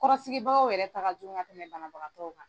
Kɔrɔsigibagaw yɛrɛ ta jugu ka tɛmɛ banabagatɔw kan.